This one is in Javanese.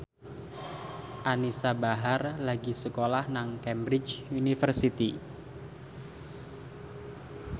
Anisa Bahar lagi sekolah nang Cambridge University